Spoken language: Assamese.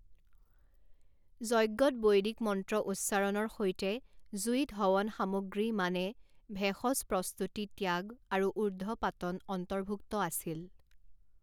যজ্ঞত বৈদিক মন্ত্ৰ উচ্চাৰণৰ সৈতে জুইত হৱন সামগ্ৰী মানে ভেষজ প্ৰস্তুতি ত্যাগ আৰু ঊৰ্ধ্বপাতন অন্তৰ্ভূক্ত আছিল।